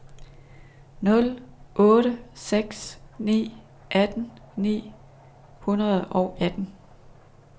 nul otte seks ni atten ni hundrede og atten